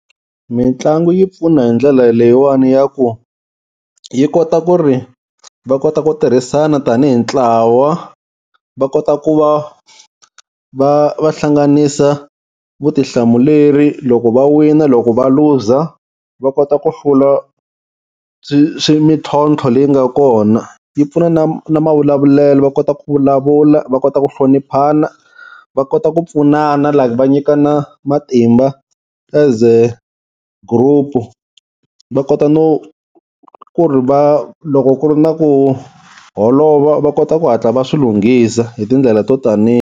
Mitlangu yi pfuna hi ndlela leyiwani ya ku yi kota ku ri va kota ku tirhisana tanihi ntlawa, va kota ku va va va hlanganisa vutihlamuleri loko va wina loko va luza va kota ku hlula mintlhontlho leyi nga kona. Yi pfuna na na mavulavulelo va kota ku vulavula, va kota ku hloniphana, va kota ku pfunana like va nyikana matimba as a group-u, va kota no ku ri va loko ku ri na ku holova va kota ku hatla va swi lunghisa hi tindlela to taniya.